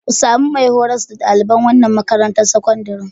Ku sami mai horas da ɗaliban wannan makarantar sakandaren.